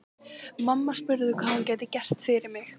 Mamma spurði hvað hún gæti gert fyrir mig.